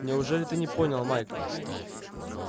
неужели ты не понял майк